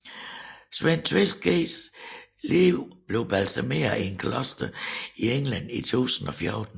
Sven Tveskægs lig blev balsameret i et kloster i England i 1014